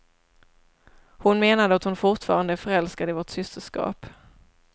Hon menade att hon fortfarande är förälskad i vårt systerskap.